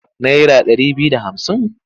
Naira ɗari biyu da hamsin.